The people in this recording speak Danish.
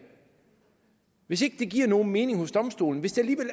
hvis ikke det giver nogen mening hos domstolene hvis det